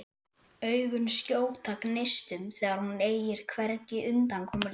Augun skjóta gneistum þegar hún eygir hvergi undankomuleið.